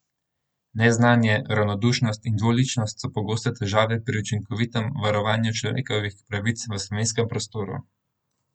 Neznanje, ravnodušnost in dvoličnost so pogosto težave pri učinkovitem varovanju človekovih pravic v slovenskem prostoru.